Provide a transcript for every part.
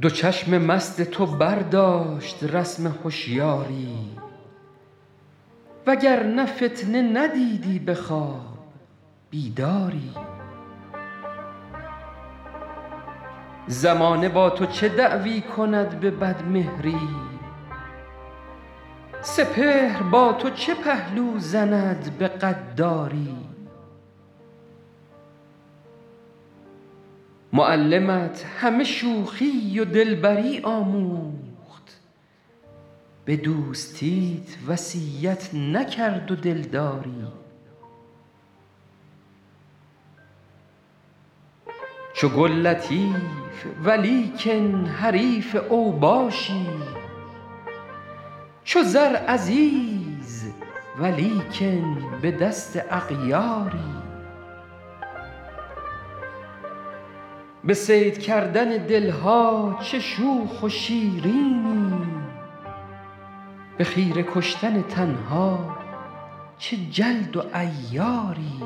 دو چشم مست تو برداشت رسم هشیاری و گر نه فتنه ندیدی به خواب بیداری زمانه با تو چه دعوی کند به بدمهری سپهر با تو چه پهلو زند به غداری معلمت همه شوخی و دلبری آموخت به دوستیت وصیت نکرد و دلداری چو گل لطیف ولیکن حریف اوباشی چو زر عزیز ولیکن به دست اغیاری به صید کردن دل ها چه شوخ و شیرینی به خیره کشتن تن ها چه جلد و عیاری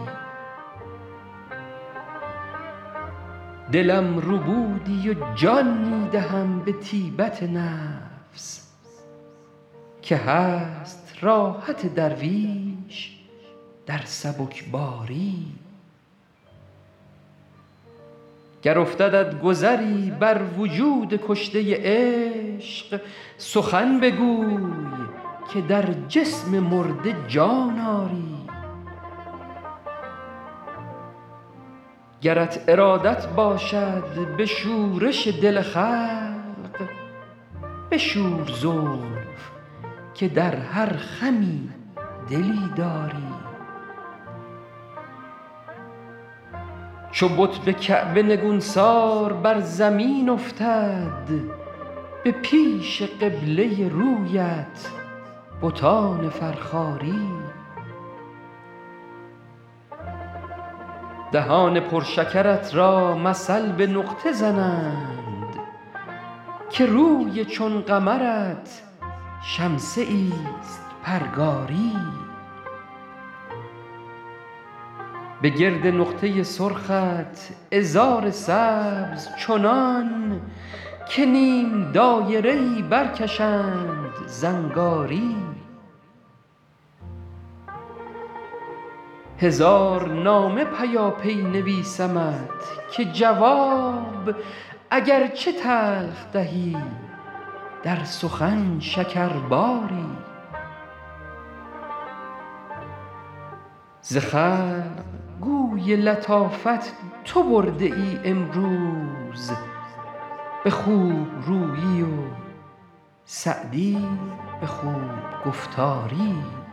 دلم ربودی و جان می دهم به طیبت نفس که هست راحت درویش در سبکباری گر افتدت گذری بر وجود کشته عشق سخن بگوی که در جسم مرده جان آری گرت ارادت باشد به شورش دل خلق بشور زلف که در هر خمی دلی داری چو بت به کعبه نگونسار بر زمین افتد به پیش قبله رویت بتان فرخاری دهان پر شکرت را مثل به نقطه زنند که روی چون قمرت شمسه ایست پرگاری به گرد نقطه سرخت عذار سبز چنان که نیم دایره ای برکشند زنگاری هزار نامه پیاپی نویسمت که جواب اگر چه تلخ دهی در سخن شکرباری ز خلق گوی لطافت تو برده ای امروز به خوب رویی و سعدی به خوب گفتاری